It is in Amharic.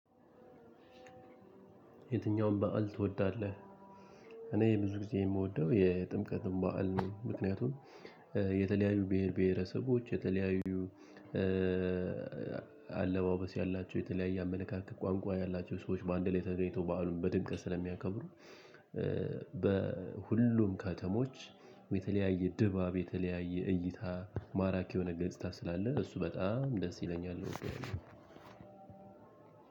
የትኛውም በዓል ትወዳለህ? እኔ ብዙ ጊዜ የምወደው የጥምቀትን በዓል ምክንያቱም የተለያዩ ብሄር ብሄረሰቦች የተለያዩ አለባበስ ያላቸው የተለያየ አመለካከት ቋንቋ ያላቸው ሰዎች በአንድ ላይ ተገኝተው በዓሉን በድምቀት ስለሚያከብሩ። በሁሉም ከተሞች የተለያየ ድባብ የተለያየ እይታ ማራኪ የሆነ ገጽታ ስላለ እሱ በጣም ደስ ይለኛል።